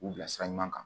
K'u bila sira ɲuman kan